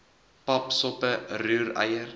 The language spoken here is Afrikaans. pap soppe roereier